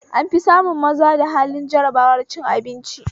An fi samun maza da halin jarabar cin abinci